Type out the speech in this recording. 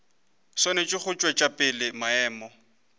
swanetše go tšwetša pele maemo